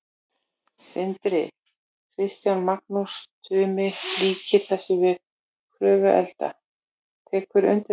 Sindri: Kristján, Magnús Tumi líkir þessu við Kröfluelda, tekurðu undir það?